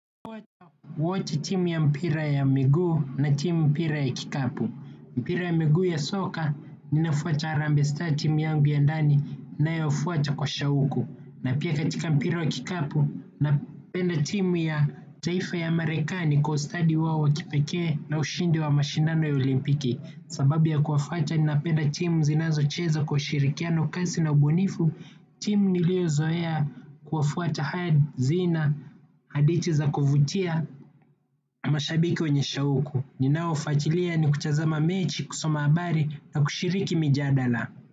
Kuwachi timu ya mpira ya migu na timu mpira ya kikapu. Mpira ya miguu ya soka, ninafuata harambe sta timu yangu ya ndani nayo fuata kwa shauku. Na pia katika mpira wa kikapu, napenda timu ya taifa ya amerekani kwa ustadi wao wakipeke na ushindi wa mashindano ya olimpiki. Sababu ya kuwafuata, ninapenda timu zinazo cheza kwa ushirikiano kasi na ubunifu. Timu niliozoea kuwafuata tahad, zina, hadithi za kuvutia mashabiki wenye shauku, ninaofatilia ni kutazama mechi kusoma habari na kushiriki mijadala.